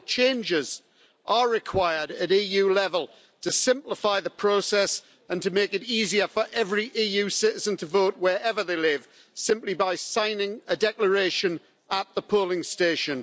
Therefore, changes are required at EU level to simplify the process and to make it easier for every EU citizen to vote, wherever they live, simply by signing a declaration at the polling station.